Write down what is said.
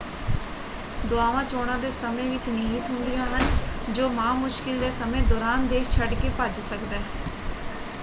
ਦੁਆਵਾਂ ਚੋਣਾ ਦੇ ਸਮੇਂ ਵਿੱਚ ਨਿਹਿਤ ਹੁੰਦੀਆਂ ਹਨ ਜੋ ਮਾ ਮੁਸ਼ਕਿਲ ਦੇ ਸਮੇਂ ਦੌਰਾਨ ਦੇਸ਼ ਛੱਡਕੇ ਭੱਜ ਸਕਦਾ ਹੈ।